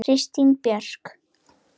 Katrín Björk.